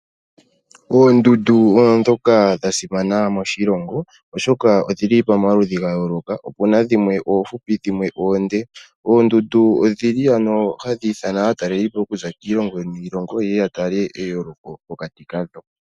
Oondundu odho dhoka dha simana moshilongo oshoka odhili pamaludhi ga yooloka opuna dhimwe oofupi dhimwe oonde, oondundu odhili ano hadhi ithana aatalelipo okuza kiilongo niilongo ye ya tale eyooloko pokati kadho.